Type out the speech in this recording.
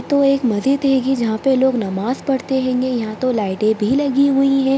तो एक मस्जिद हैगी जहा पे लोग नमाज़ पढ़ते हैंगे यहाँ तो लाइटें भी लगी हुई हैं।